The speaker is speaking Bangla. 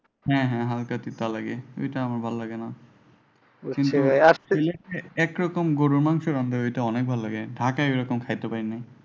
হ্যাঁ হ্যাঁ হ্যাঁ হালকা তিতা লাগে। ওইটা আমার ভালো লাগেনা। ঐখান থেকে সিলেটে একরকম গুরুর মাংস রান্ধে ঐটা আমার ভালো লাগে ঢাকায় ও ঐ রকম খাইতে পাড়িনা।